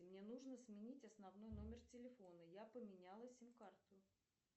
мне нужно сменить основной номер телефона я поменяла сим карту